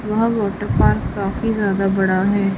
वह water park काफी ज्यादा बड़ा है।